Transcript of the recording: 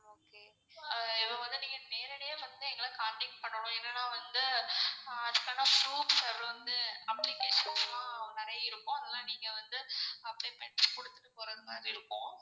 ஆஹ் இப்போ வந்து நீங்க நேரடியா வந்து எங்கள contact பண்ணனும் என்னனா வந்து அஹ் அப்போ தான் proof applications லான் நெறைய இருக்கும் அதுலாம் நீங்க வந்து apply பண்ட்டு குடுத்துட்டு போறது மாதிரி இருக்கும்.